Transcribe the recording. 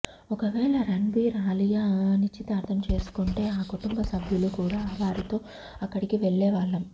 ఒకవేళ రణ్బీర్ అలియా నిశ్చితార్థం చేసుకుంటే మా కుటుంబ సభ్యులు కూడా వారితో అక్కడికి వెళ్లే వాళ్లం